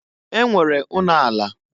E nwere ụnọ ala.